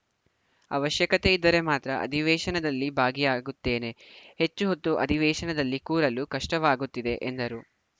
ಅವಶ್ಯಕತೆ ಇದ್ದರೆ ಮಾತ್ರ ಅಧಿವೇಶನದಲ್ಲಿ ಭಾಗಿಯಾಗುತ್ತೇನೆ ಹೆಚ್ಚು ಹೊತ್ತು ಅಧಿವೇಶನದಲ್ಲಿ ಕೂರಲು ಕಷ್ಟವಾಗುತ್ತಿದೆ ಎಂದರು